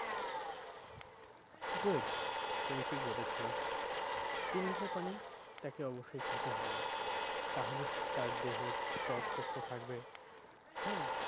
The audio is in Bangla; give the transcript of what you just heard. good তুমি ঠিক বলেছো তিন litre পানি তাকে অব্যশই খেতে হবে তাহলে তার দেহে ত্বক সুস্থ থাকবে হ্যাঁ?